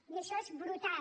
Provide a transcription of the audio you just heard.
i això és brutal